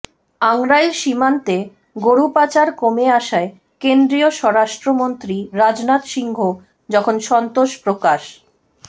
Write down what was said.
আংড়াইল সীমান্তে গরু পাচার কমে আসায় কেন্দ্রীয় স্বরাষ্ট্রমন্ত্রী রাজনাথ সিংহ যখন সন্তোষ প্রকাশ